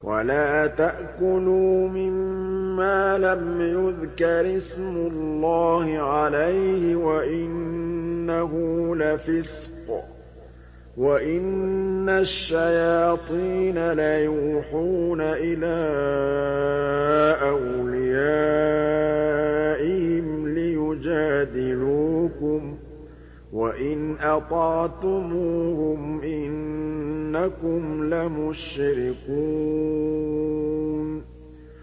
وَلَا تَأْكُلُوا مِمَّا لَمْ يُذْكَرِ اسْمُ اللَّهِ عَلَيْهِ وَإِنَّهُ لَفِسْقٌ ۗ وَإِنَّ الشَّيَاطِينَ لَيُوحُونَ إِلَىٰ أَوْلِيَائِهِمْ لِيُجَادِلُوكُمْ ۖ وَإِنْ أَطَعْتُمُوهُمْ إِنَّكُمْ لَمُشْرِكُونَ